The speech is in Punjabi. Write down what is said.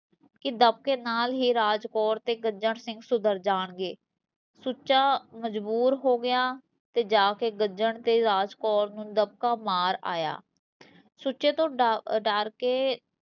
ਕੀ ਦਬਕੇ ਨਾਲ਼ ਹੀਂ ਰਾਜ ਕੋਰ ਤੇ ਗੱਜਣ ਸਿੰਘ ਸੁਧਰ ਜਾਣਗੇ ਸੁੱਚਾ ਮਜਬੂਰ ਹੋ ਗਿਆ, ਤੇ ਜਾਕੇ ਗੱਜਣ ਤੇ ਰਾਜ ਕੌਰ ਨੂੰ ਦਬਕਾ ਮਾਰ ਆਇਆ ਸੁੱਚੇ ਤੋਂ ਡਰ ਕੇ